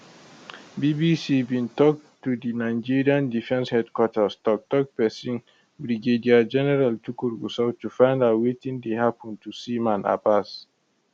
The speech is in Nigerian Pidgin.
bbc bin tok to di nigerian defence headquarters toktok pesin brigadier general tukur gusau to find out wetin dey happun to seaman abbas